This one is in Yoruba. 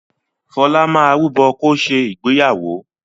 Fọlá máa rúbọ̀ kó ṣe ìgbéyàwó.